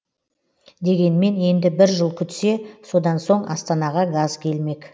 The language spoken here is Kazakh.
дегенмен енді бір жыл күтсе содан соң астанаға газ келмек